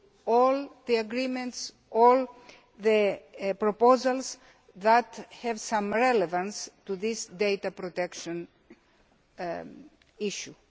all the agreements and proposals that have some relevance to this data protection issue.